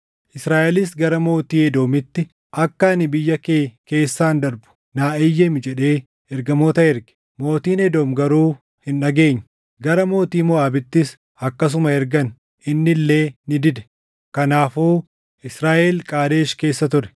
Israaʼelis gara mootii Edoomitti, ‘Akka ani biyya kee keessaan darbu naa eeyyami’ jedhee ergamoota erge; mootiin Edoom garuu hin dhageenye. Gara mootii Moʼaabittis akkasuma ergan; inni illee ni dide. Kanaafuu Israaʼel Qaadesh keessa ture.